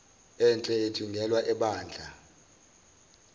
enhle ithungelwa ebandla